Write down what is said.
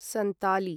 सन्ताली